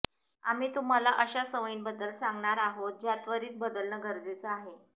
आम्ही तुम्हाला अशा सवयींबद्दल सांगणार आहोत ज्या त्वरीत बदलणं गरजेचं आहे